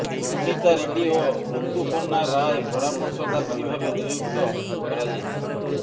ଅନୀତା ରେଡ୍ଡି ଓ ରୁତୁପୂର୍ଣ୍ଣା ରାୟ ପରାମର୍ଶଦାତ୍ରୀ ଭାବେ ନିଯୁକ୍ତ କରାଯାଇଛି